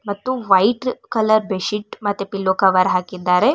ಮತ್ತು white colour bedsheet ಮತ್ತೆ pillow cover ಹಾಕಿದ್ದಾರೆ.